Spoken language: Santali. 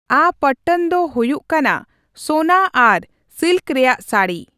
ᱟ ᱯᱚᱴᱴᱚᱱ ᱫᱚ ᱦᱩᱭᱩᱜ ᱠᱟᱱᱟ ᱥᱳᱱᱟ ᱟᱨ ᱥᱤᱞᱠ ᱨᱮᱭᱟᱜ ᱥᱟᱹᱲᱤ ᱾